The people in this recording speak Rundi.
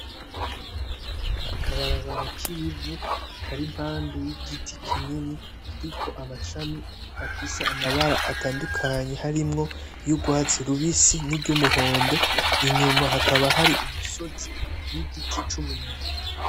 Akabarabara k'ivu kari impande y'igiti kinini kiriko amashami afise amabara atandukanye harimwo y'urwatsi rubisi n'iryumuhondo inyuma hakaba hari umusozi n'igiti c'umwembe.